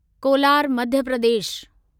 Kolar Madhya Pradesh